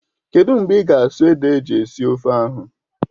Kedụ mgbe ị ga-asụ ede eji esi ofe ahụ?